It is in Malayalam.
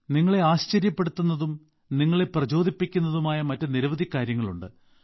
നിങ്ങളെ ആശ്ചര്യപ്പെടുത്തുന്നതും നിങ്ങളെ പ്രചോദിപ്പിക്കുന്നതുമായ മറ്റ് നിരവധി കാര്യങ്ങളുണ്ട്